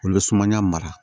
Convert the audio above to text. Olu bɛ sumaya mara